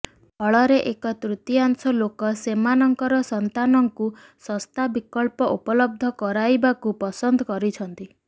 ଫଳରେ ଏକ ତୃତୀୟାଶଂ ଲୋକ ସେମାନଙ୍କର ସନ୍ତାନଙ୍କୁ ଶସ୍ତା ବିକଳ୍ପ ଉପଲବ୍ଧ କରାଇବାକୁ ପସନ୍ଦ କରିଛନ୍ତି